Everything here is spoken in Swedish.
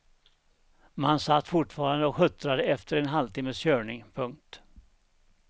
Man satt fortfarande och huttrade efter en halvtimmes körning. punkt